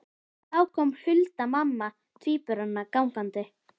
Þá kom Hulda mamma tvíburanna gangandi.